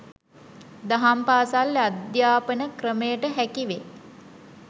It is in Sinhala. දහම් පාසල් අධ්‍යාපන ක්‍රමයට හැකිවේ.